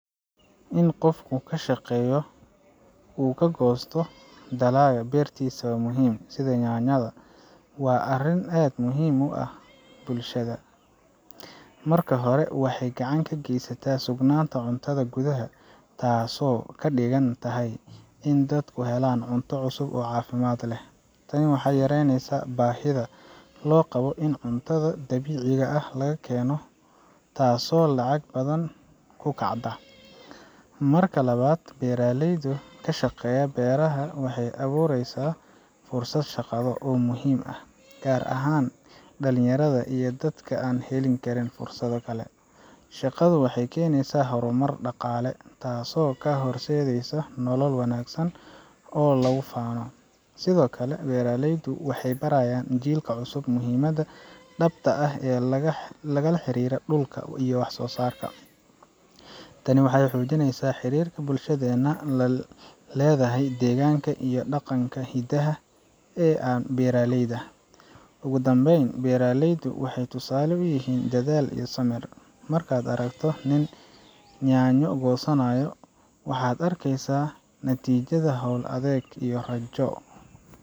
In qofku ka shaqeeyo oo uu ka goosto dalagga beertisa wa muhim, sida yaanyada, waa arrin aad muhiim ugu ah bulshada. Marka hore, waxay gacan ka geysataa sugnaanta cuntada gudaha, taasoo ka dhigan tahay in dadku helaan cunto cusub oo caafimaad leh. Tani waxay yareynaysaa baahida loo qabo in cunto dibadda laga keeno, taasoo lacag badan ku kacda. Marka labaad, beeralayda oo ka shaqeeya beeraha waxay abuurayaan fursado shaqo oo muhiim ah, gaar ahaan dhallinyarada iyo dadka aan helin fursado kale. Shaqadu waxay keenaysaa horumar dhaqaale, taasoo u horseedaysa nolol wanaagsan oo lagu faano. Sidoo kale, beeraleydu waxay barayaan jiilka cusub muhiimadda dhabta ah ee la xiriirta dhulka iyo wax soosaarka. Tani waxay xoojinaysaa xiriirka bulshadeena la leedahay deegaanka iyo dhaqankeena hidaha ah ee beeralayda. Ugu dambeyntii, beeraleydu waxay tusaale u yihiin dadaal iyo samir. Markaad aragto nin yaanyo goosanaya, waxaad arkeysaa natiijada hawl adag iyo rajo.